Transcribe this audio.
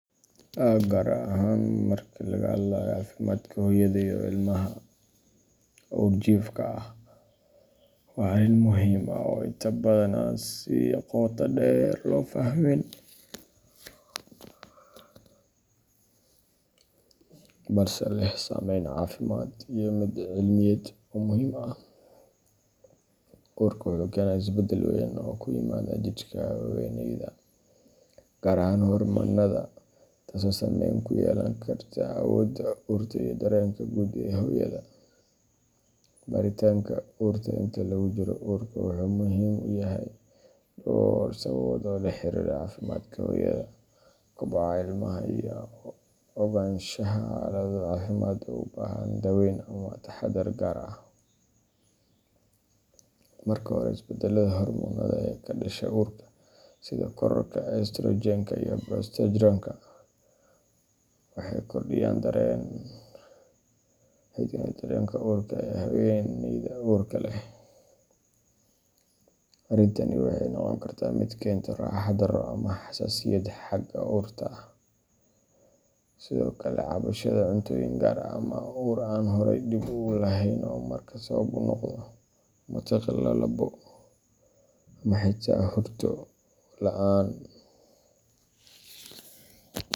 Gaar ahaan marka laga hadlayo caafimaadka hooyada iyo ilmaha uurjiifka ah, waa arrin muhiim ah oo inta badan aan si qoto dheer loo fahmin, balse leh saameyn caafimaad iyo mid cilmiyeed oo muhiim ah. Uurka wuxuu keenaa isbedel weyn oo ku yimaada jidhka haweeneyda, gaar ahaan hormoonnada, taasoo saameyn ku yeelan karta awoodda urta iyo dareenka guud ee hooyada. Baaritaanka urta inta lagu jiro uurka wuxuu muhiim u yahay dhowr sababood oo la xiriira caafimaadka hooyada, koboca ilmaha, iyo ogaanshaha xaalado caafimaad oo u baahan daaweyn ama taxadar gaar ah. Marka hore, isbedellada hormoonnada ee ka dhasha uurka sida kororka estrogen-ka iyo progesterone-ka waxay kordhiyaan dareenka urta ee haweeneyda uurka leh. Arrintani waxay noqon kartaa mid keenta raaxo-darro ama xasaasiyad xagga urta ah, sida ka cabsashada cuntooyin gaar ah ama ur aan horay dhib u lahayn oo markaa sabab u noqda matag, lalabbo, ama xitaa hurdo la’aan.